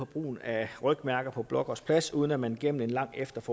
brugen af rygmærker på blågårds plads uden at man gennem en langstrakt